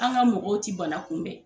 An ka mɔgɔw tɛ bana kunbɛn.